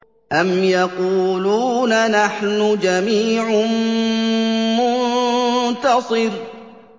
أَمْ يَقُولُونَ نَحْنُ جَمِيعٌ مُّنتَصِرٌ